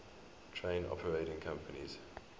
train operating companies